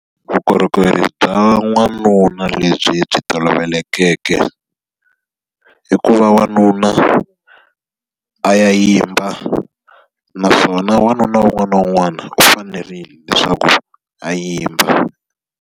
Vukorhokeri bya n'wanuna lebyi byi tolovelekeke, i ku va wanuna a ya yimba naswona wanuna wun'wana na wun'wana u fanerile leswaku a yimba.